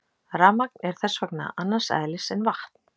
Rafmagn er þess vegna annars eðlis en vatn.